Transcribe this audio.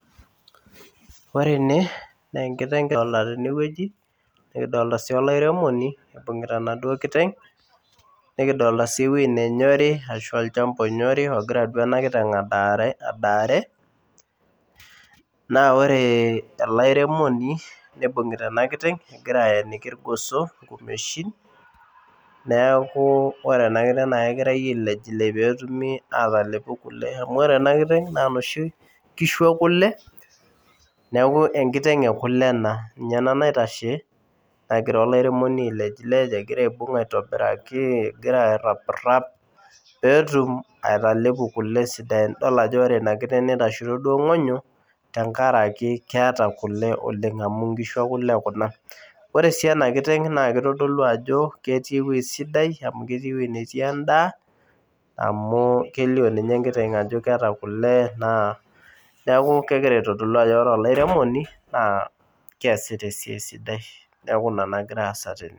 Ore ene nenkiteng kidolta tenewueji nikidolta sii olairemoni ibung'ita enaduo kiteng nikidolta sii ewueji nenyori ashu olchamba onyori ogira duo ena kiteng adaare adaare naa ore ele airemoni nibung'ita ena kiteng egira ayeniki irgoso inkumeshin neeku ore ena kiteng naa kegirae ailejilej petumi atalepu kule amu ore ena kiteng naa inoshi kishu ekule neku enkiteng ekule ena ninye ena naitashe nagira olairemoni ailejilej egira aibung aitobiraki egira aerrapirap peetum atalepu kule sidain idol ajo ore ina kiteng nitashito duo ing'onyo tenkaraki keeta kule oleng amu inkishu ekule kuna ore sii ena kiteng naa kitodolu ajo ketii ewueji sidai amu ketii ewueji netii endaa amu kelio niinye enkiteng ajo keeta kule naa neku kegira aitodolu ajo ore olairemoni naa keesita esiai sidai neku ina nagira aasa tene.